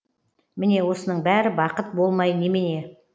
міне осының бәрі бақыт болмай немене